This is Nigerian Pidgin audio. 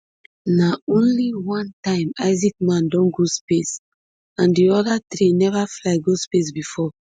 na only one time isaacman don go space and di oda three neva fly go space bifor